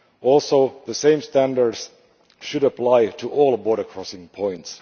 Also, the same standards should apply to all border crossing points.